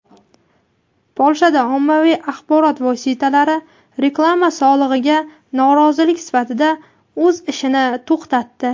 Polshada ommaviy axborot vositalari reklama solig‘iga norozilik sifatida o‘z ishini to‘xtatdi.